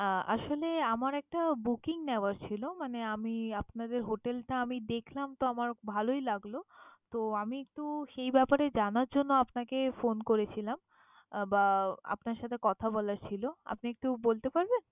আহ আসলে আমার একটা booking নেওয়ার ছিল মানে আমি আপনাদের hotel টা আমি দেখলাম, তো আমার ভালোই লাগলো। তো আমি একটু সেই ব্যাপারে জানার জন্য আপনাকে phone করেছিলাম বা আহ আপনার সাথে কথা বলার ছিল। আপনি একটু বলতে পারবেন?